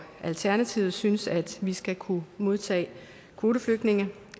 alternativet synes at vi skal kunne modtage kvoteflygtninge